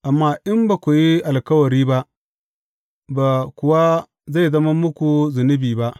Amma in ba ku yi alkawari ba, ba kuwa zai zama muku zunubi ba.